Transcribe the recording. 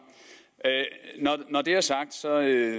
når det er sagt